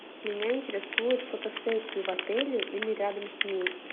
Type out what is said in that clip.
меня интересуют фотосессии в отеле или рядом с ним